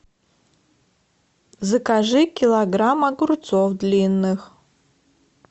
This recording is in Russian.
закажи килограмм огурцов длинных